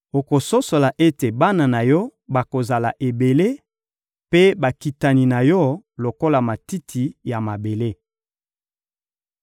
Okososola ete bana na yo bakozala ebele, mpe bakitani na yo, lokola matiti ya mabele.